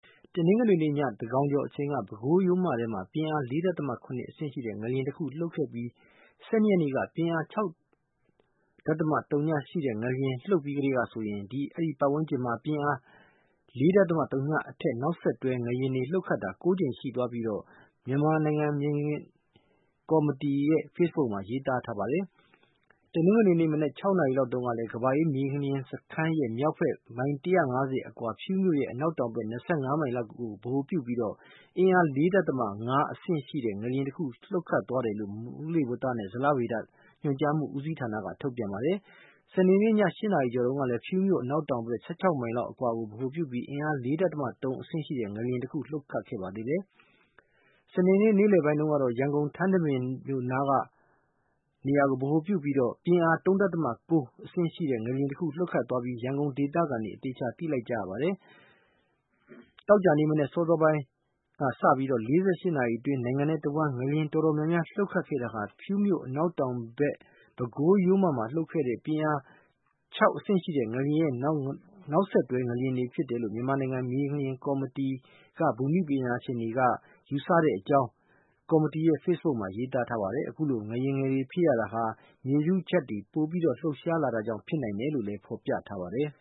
တနင်္ဂနွေနေ့ည သန်းခေါင်ကျော်ချိန်က ပဲခူးရိုးမထဲမှာ ပြင်းအား ၄.၇ ရှိတဲ့ ငလျင်တခုလှုပ်ခတ်ခဲ့ပြီး ၁၂ ရက်နေ့က ပြင်းအား ၆.၀ ရှိတဲ့ငလျင် လှုပ်ပြီးကတည်းကဆိုရင် အဲဒီပတ်ဝန်းကျင်မှာ ပြင်းအား ၄.၀ နဲ့အထက် နောက်ဆက်တွဲငလျင်တွေ လှုပ်ခတ်တာ ၉ ကြိမ်ရှိသွားပြီး မြန်မာနိုင်ငံ မြေငလျင်ကော်မတီက ဖေ့စ်ဘုတ်မှာ ရေးထားပါတယ်။ တနင်္ဂနွေနေ့မနက် ၆ နာရီလောက်တုန်းကလည်း ကမ္ဘာအေးမြေငလျင်စခန်းရဲ့မြောက်ဘက် ၁၅၀ မိုင်ခန့်အကွာ ဖြူးမြို့ရဲ့ အနောက်တောင်ဘက် ၂၅ မိုင်လောက်အကွာကို ဗဟိုပြုပြီး ပြင်းအား ၄.၅ ရှိတဲ့ ငလျင်တခုလှုပ်သွားတ်ယလို့ မိုးလေဝနဲ့ ဇလဗေဗ ညွှန်ကြားမှုဦးစီးဌာနက သတင်းထုတ်ပြန်ပါတယ်။ စနေနေ့ည ၈ နာရီကျော်တုန်းကလည်း ဖြူးမြို့အနောက်တောင်ဘက် ၁၆ မိုင်လောက်အကွာ်ကို ဗဟိုပြုပြီး ပြင်းအား ၄.၃ ရှိတဲ့ ငလျင်တခု လှုပ်ပါသေးတယ်။ စနေနေ့လယ်ပိုင်းတုန်းကတော့ ရန်ကုန်၊ ထန်းတပင်မြို့နားကို ဗဟိုပြုပြီး ပြင်းအား ၃.၉ ရှိတဲ့ ငလျင်လှုပ်သွားပြီး ရန်ကုန်ဒေသခံတွေ အသေအချာ သိလိုက်ကြရပါတယ်။ သောကြာနေ့မနက် အစောပိုင်းကစပြီး ၄၈ နာရီအတွင်း နိုင်ငံတဝန်း ငလျင်ငယ်အတော်များများ လှုပ်ခတ်တာဟာ ဖြူးမြို့ အနောက်တောင်ဘက် ပဲခူးရိုးမမှာလှုပ်ခဲ့တဲ့ ပြင်းအား ၆ ငလျင်ရဲ့ နောက်ဆက်တွဲငလျင်တွေလို့ မြန်မာနိုင်ငံ မြေငလျင်ကော်မတီ က ဘူမိဗေဒပညာရှင်တွေက ယူဆတဲ့အကြောင်း ကော်မတီရဲ့ဖေ့စ်ဘုတ်မှာ ရေးထားပါတယ်။ အခုလို ငလျင်ငယ်တွေ ဖြစ်ရတာဟာ မြေထုချပ်တွေ ပိုပြီး လှုပ်ရှားလာတာကြောင့် ဖြစ်နိုင်တယ်လို့လည်း ဖော်ပြထားပါတယ်